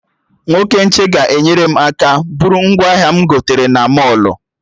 Nwoke nche ga-enyere m aka bụrụ ngwaahịa m gotere na mọlụ